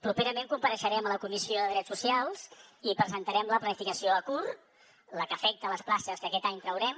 properament compareixerem a la comissió de drets socials i presentarem la planificació a curt la que afecta les places que aquest any traurem